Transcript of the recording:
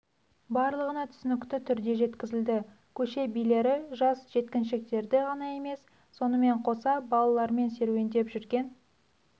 барлығына түсінікті түрде жеткізіліді көше билері жас жеткіншектерді ғана емес сонымен қоса балаларымен серуендеп жүрген